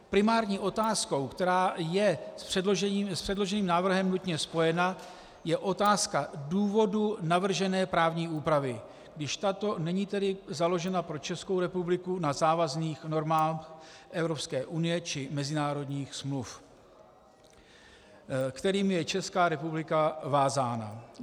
Primární otázkou, která je s předložením návrhu nutně spojena, je otázka důvodu navržené právní úpravy, když tato není tedy založena pro Českou republiku na závazných normách Evropské unie či mezinárodních smluv, kterými je Česká republika vázána.